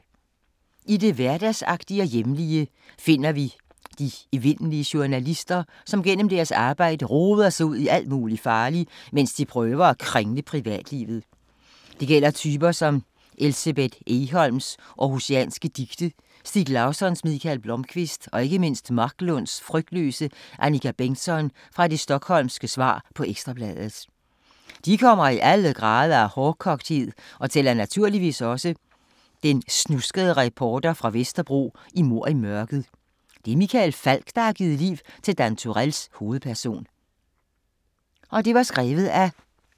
I det hverdagsagtige og hjemlige, finder vi de evindelige journalister, som gennem deres arbejde roder sig ud i alt muligt farligt, mens de prøver at kringle privatlivet. Det gælder typer som Elsebeth Egholms århusianske Dicte, Stieg Larssons Mikael Blomkvist og ikke mindst Marklunds frygtløse Annika Bengtzon fra det Stockholmske svar på Ekstra Bladet. De kommer i alle grader af hårdkogthed og tæller naturligvis også den snuskede reporter fra Vesterbro i Mord i mørket. Det er Michael Falch, der har givet liv til Dan Turells hovedperson.